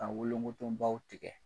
Ka wolongotobaw tigɛ.